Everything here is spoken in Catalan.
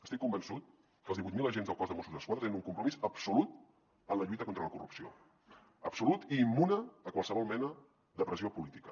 estic convençut que els divuit mil agents del cos de mossos d’esquadra tenen un compromís absolut amb la lluita contra la corrupció absolut i immune a qualsevol mena de pressió política